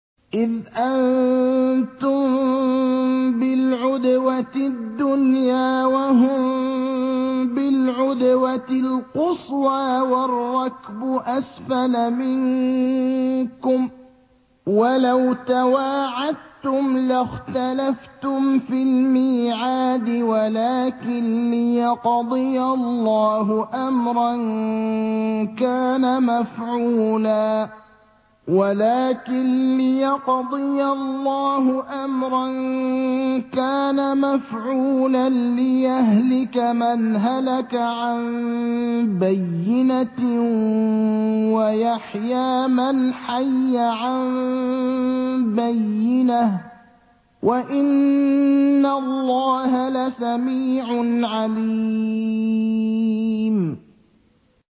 إِذْ أَنتُم بِالْعُدْوَةِ الدُّنْيَا وَهُم بِالْعُدْوَةِ الْقُصْوَىٰ وَالرَّكْبُ أَسْفَلَ مِنكُمْ ۚ وَلَوْ تَوَاعَدتُّمْ لَاخْتَلَفْتُمْ فِي الْمِيعَادِ ۙ وَلَٰكِن لِّيَقْضِيَ اللَّهُ أَمْرًا كَانَ مَفْعُولًا لِّيَهْلِكَ مَنْ هَلَكَ عَن بَيِّنَةٍ وَيَحْيَىٰ مَنْ حَيَّ عَن بَيِّنَةٍ ۗ وَإِنَّ اللَّهَ لَسَمِيعٌ عَلِيمٌ